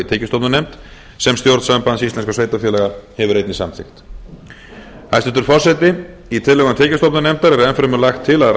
tekjustofnanefnd sem stjórn sambands íslenskum sveitarfélaga hefur einnig samþykkt hæstvirtur forseti í tillögum tekjustofnanefndar er enn fremur lagt til að